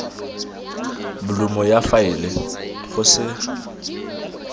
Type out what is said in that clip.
bolumo ya faele go se